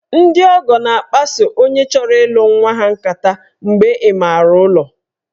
Ndị ọgọ na-akpaso onye chọrọ ịlụ nwa ha nkata mgbe ịmaara ụlọ